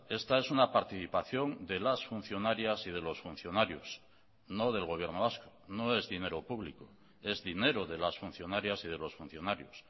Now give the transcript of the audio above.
esta es una participación de las funcionarias y de los funcionarios no del gobierno vasco no es dinero público es dinero de las funcionarias y de los funcionarios